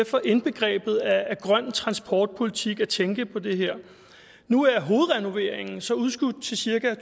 sfer indbegrebet af grøn transportpolitik at tænke på det her nu er hovedrenoveringen så udskudt til cirka